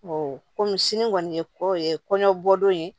kɔmi sini kɔni ye ko ye kɔɲɔ bɔdon ye